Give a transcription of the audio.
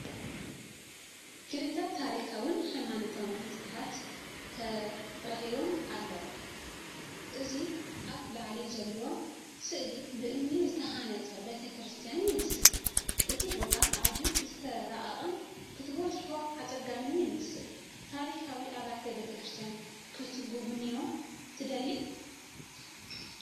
ክልተ ታሪኻውን ሃይማኖታውን ህንጻታት ተረኺቦም ኣለዉ። እዚ ኣብ ላዕሊ ዘሎ ስእሊ ብእምኒ ዝተሃንጸ ቤተ ክርስቲያን ይመስል ፣ እቲ ቦታ ኣዝዩ ዝተራቐቐን ክትበጽሖ ኣጸጋምን ይመስል። ታሪኻዊ ኣብያተ ክርስቲያናት ክትጉብንዩ ትደልዩ?